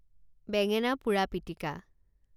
বেঙেনা পোৰা পিটিকা